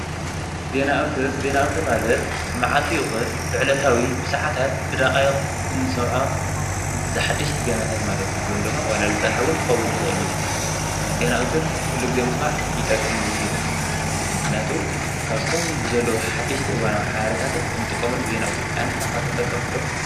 ዜና ኣውትር-ዜና ኣውትር ማለት ብመዓልቲ ይኹን ብዕለታዊ ብሰዓታት ብደቓይቕ እንሰርዖ ሓደሽቲ ዜናታት ማለት እዩ፡፡ ወይ ደሞ ዋላ ዝፀንሐ እውን ክኸውን ይኽእል እዩ፡፡ ዜና ኣውትር ኩሉ ግዜ ምስማዕ ይጠቅም እውን እዩ፡፡ ምኽንያቱ ካብቶም ዘለዉ ሓደሽቲ እዋናዊ ሓበሬታት እንጥቀመሉ ብዜና ኣውትር እዩ፡፡ ኣንሕና ከ ተጠቀምቲ ዶ?